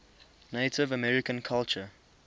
native american culture